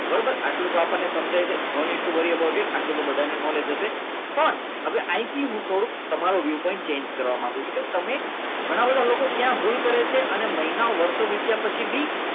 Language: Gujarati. બરાબર આટલું આપ તો આપણને સમજાય છે નોંધ આટલું તો બધાને નોલેજ હશે પણ અહીંથી હું થોડું તમારો વ્યુ પણ change કરવા માગું છું કે તમે ઘણા બધા લોકો ક્યાં ભૂલ કરે છે અને મહિના વર્ષો થયા પછી